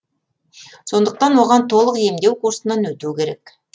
сондықтан оған толық емдеу курсынан өту керек